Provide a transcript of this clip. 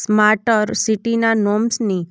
smart સિટીના નોમ્સની